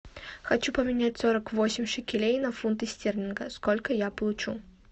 хочу поменять сорок восемь шекелей на фунты стерлингов сколько я получу